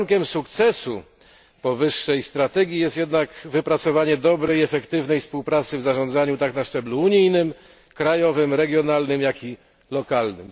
Warunkiem sukcesu powyższej strategii jest jednak wypracowanie dobrej, efektywnej współpracy w zarządzaniu tak na szczeblu unijnym, krajowym, regionalnym, jak i lokalnym.